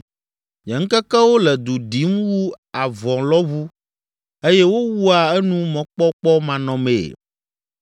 “Nye ŋkekewo le du ɖim wu avɔlɔ̃ʋu eye wowua enu mɔkpɔkpɔmanɔmee.